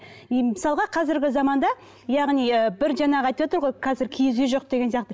и мысалға қазірге заманда яғни бір жаңағы айтывотыр ғой қазір киіз үй жоқ деген сияқты